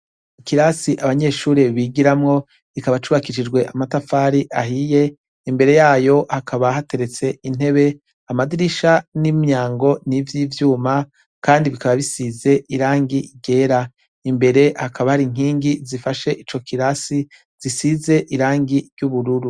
Kirasi abanyeshuri bigiramwo bikaba cubakishijwe amatafari ahiye imbere yayo hakaba hateretse intebe amadirisha n'imyango n'ivyo ivyuma, kandi bikaba bisize irangi gera imbere hakaba hari nkingi zifashe ico kilasi zisize irangi ry'ubururu.